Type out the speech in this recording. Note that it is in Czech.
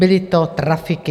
Byly to trafiky.